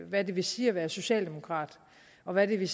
hvad det vil sige at være socialdemokrat og hvad vil